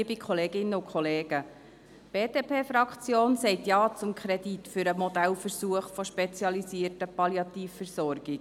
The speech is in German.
Die BDP-Fraktion sagt Ja zum Kredit für den Modellversuch der spezialisierten Palliativversorgung.